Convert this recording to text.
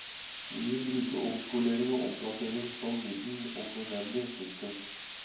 Vi vil bruke omskolering og omplassering som middel om nødvendig. punktum